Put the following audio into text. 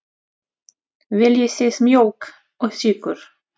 Viljið þið mjólk og sykur?